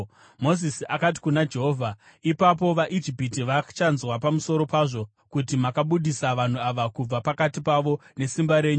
Mozisi akati kuna Jehovha, “Ipapo vaIjipita vachanzwa pamusoro pazvo! Kuti makabudisa vanhu ava kubva pakati pavo nesimba renyu.